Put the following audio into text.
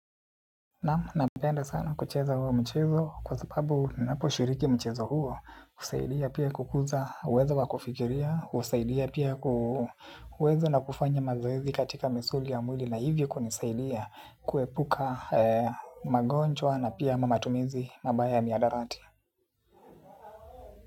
Na napenda sana kucheza huo mchezo kwa sababu ninaposhiriki mchezo huo husaidia pia kukuza uwezo wa kufikiria, husaidia pia kuweza na kufanya mazoezi katika misuli ya mwili na hivyo kunisaidia kuepuka magonjwa na pia matumizi mabaya ya miadarati.